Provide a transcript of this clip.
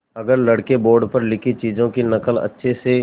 अगर लड़के बोर्ड पर लिखी चीज़ों की नकल अच्छे से